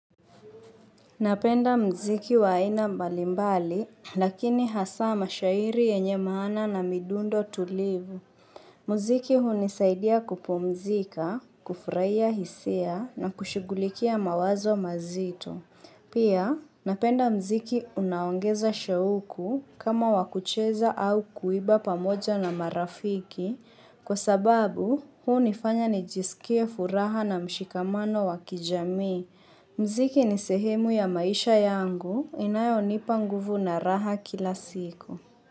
Napenda muziki wa aina mbalimbali, lakini hasa mashairi yenye maana na midundo tulivu. Muziki hunisaidia kupumzika, kufurahia hisia na kushigulikia mawazo mazito. Pia, napenda muziki unaongeza shauku kama wakucheza au kuiba pamoja na marafiki, kwa sababu hunifanya nijisikie furaha na mshikamano wa kijamii muziki ni sehemu ya maisha yangu inayo nipa nguvu na raha kila siku.